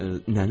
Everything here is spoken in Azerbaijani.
Nənə?